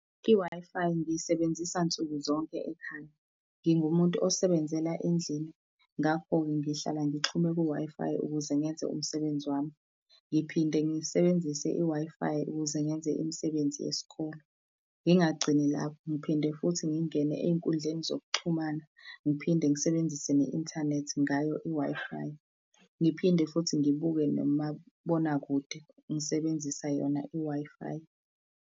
I-Wi-Fi ngiyisebenzisa nsukuzonke ekhaya, ngingumuntu osebenzela endlini, ngakho-ke ngihlala ngixhume ku-Wi-Fi ukuze ngenze umsebenzi wami. Ngiphinde ngisebenzise i-Wi-Fi ukuze ngenze imisebenzi yesikole. Ngingagcini lapho, ngiphinde futhi ngingene ey'nkundleni zokuxhumana, ngiphinde ngisebenzise ne-inthanethi ngayo i-Wi-Fi, ngiphinde futhi ngibuke nomabonakude ngisebenzisa yona i-Wi-Fi.